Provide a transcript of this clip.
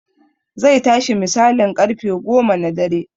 Zai tashi misalin ƙarfe goma na dare